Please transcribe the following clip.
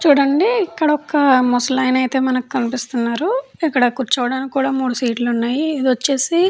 చూడండి ఇక్కడ ఒక ముసలైన అయితే మనకి కనిపిస్తున్నారు ఇక్కడ కూర్చోవడానికి కూడా మూడు సీట్లు ఉన్నాయి ఇదొచ్చేసి --